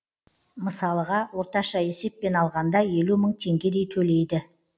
мысалыға орташа есеппен алғанда елу мың теңгедей төлейді